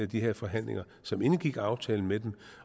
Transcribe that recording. de her forhandlinger som indgik aftalen med dem